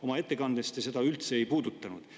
" Oma ettekandes te seda üldse ei puudutanud.